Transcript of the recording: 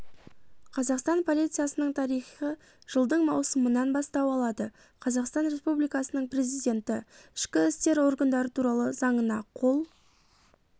қазақстан полициясының тарихы жылдың маусымынан бастау алады қазақстан республикасының президенті ішкі істер органдары туралы заңына қол